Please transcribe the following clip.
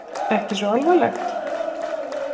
Ekki svo alvarlegt?